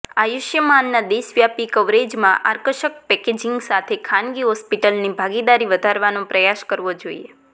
આયુષ્યમાનના દેશવ્યાપી કવરેજમાં આકર્ષક પેકેજિસ સાથે ખાનગી હોસ્પિટલ્સની ભાગીદારી વધારવાનો પ્રયાસ કરવો જોઈએ